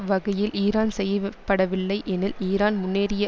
வகையில் ஈரான் செயவிப்படவில்லை எனில் ஈரான் முன்னேறிய